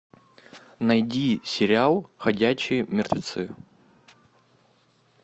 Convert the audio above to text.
найди сериал ходячие мертвецы